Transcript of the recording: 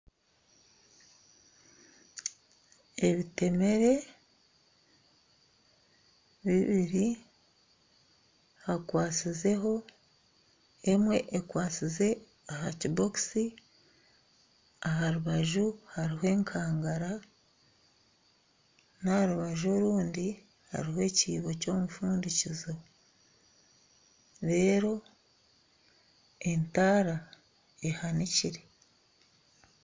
Ebitemere bibiri hakwasizeho emwe ekwasize aha kibokisi aharubaju hariho ekangara n'aharubaju orundi hariho ekyibo ky'omufundikizo reero entaara ehanikire.